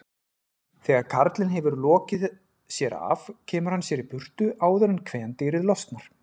Þegar karlinn hefur lokið sér af kemur hann sér í burtu áður en kvendýrið losnar.